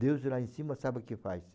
Deus lá em cima sabe o que faz.